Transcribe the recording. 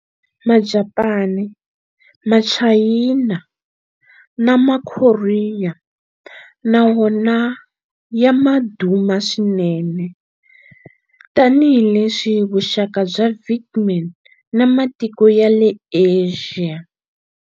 Majapani, Machayina na Makorea na wona ma ya ma duma swinene tanihileswi vuxaka bya Vietnam na matiko ya le Asia.